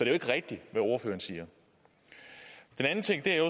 jo ikke rigtigt hvad ordføreren siger en anden ting er